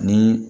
Ni